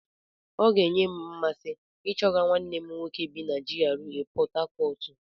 Ọ ga-enye m mmasị ichọga nwanne m nwoke bi na GRA Pọt Hacọt.